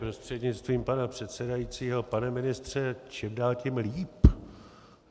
Prostřednictvím pana předsedajícího pane ministře, čím dál tím líp.